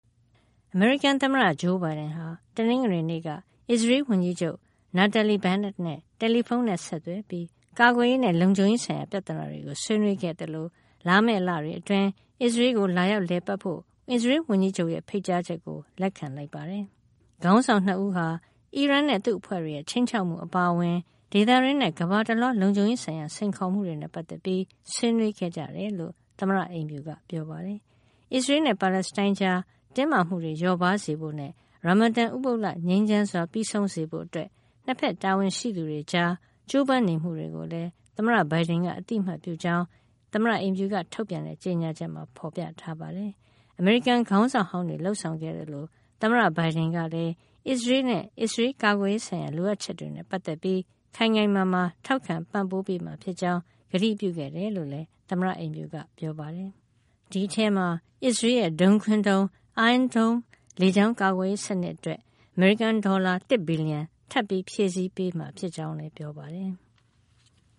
အမေရိကန်သမ္မတ Joe Biden ဟာ တနင်္ဂနွေနေ့က အစ္စရေးလ်ဝန်ကြီးချုပ် Naftali Bennett နဲ့ တယ်လီဖုန်းဆက်သွယ်ပြီး ကာကွယ်ရေးနဲ့ လုံခြုံရေးဆိုင်ရာ ပြဿနာတွေကို ဆွေးနွေးခဲ့သလို လာမယ့်လတွေအတွင်း အစ္စရေးလ်ကို လာရောက်လည်ပတ်ဖို့ အစ္စရေးလ်ဝန်ကြီးချုပ်ရဲ့ ဖိတ်ကြားချက်ကိုပါ လက်ခံလိုက်ပါတယ်။ ခေါင်းဆောင် ၂ ဦးဟာ အီရန်နဲ့ သူ့အဖွဲ့တွေရဲ့ ခြိမ်းခြောက်မှု အပါအဝင် ဒေသတွင်းနဲ့ ကမ္ဘာတလွှား လုံခြုံရေးဆိုင်ရာ စိန်ခေါ်မှုတွေနဲ့ ပတ်သက်ပြီး ဆွေးနွေးခဲ့ကြတယ်လို့ သမ္မတအိမ်ဖြူက ပြောပါတယ်။ အစ္စရေးလ်နဲ့ ပါလက်စတိုင်းကြားက တင်းမာမှုတွေ လျော့ပါးစေဖို့နဲ့ Ramadan ဥပုသ်လ ငြိမ်းချမ်းစွာ ပြီးဆုံးစေဖို့ အစ္စရေးလ်-ပါလက်စတိုင်း နှစ်ဖက် တာဝန်ရှိသူတွေကြား ကြိုးပမ်းနေမှုတွေကိုလည်း သမ္မတ Biden က အသိအမှတ်ပြုကြောင်း သမ္မတအိမ်ဖြူက ထုတ်ပြန်တဲ့ ကြေညာချက်မှာ ဖော်ပြထားပါတယ်။ အမေရိကန်ခေါင်းဆောင်ဟောင်းတွေ လုပ်ဆောင်ခဲ့သလိုပဲ သမ္မတ Biden ကလည်း အစ္စရေးလ်နဲ့ အစ္စရေးလ် ကာကွယ်ရေးဆိုင်ရာ လိုအပ်ချက်တွေနဲ့ ပတ်သက်ပြီး ခိုင်ခိုင်မာမာ ထောက်ခံပံ့ပိုးမှာဖြစ်ကြောင်း ကတိပြုခဲ့တယ်လို့လည်း သမ္မတအိမ်ဖြူက ပြောပါတယ်။ ဒီအထဲမှာ အစ္စရေးလ်ရဲ့ ဒုံးခွင်းဒုံး Iron Dome လေကြောင်းကာကွယ်ရေး စနစ်အတွက် အမေရိကန်ဒေါ်လာ ၁ ဘီလီယံ ထပ်မံဖြည့်ဆည်းပေးမှာ ဖြစ်ကြောင်းလည်း ပြောပါတယ်။